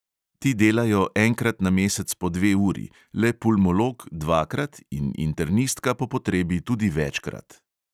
Ti delajo enkrat na mesec po dve uri, le pulmolog dvakrat in internistka po potrebi tudi večkrat.